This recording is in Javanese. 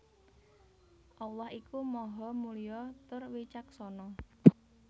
Allah iku Maha Mulya tur Wicaksana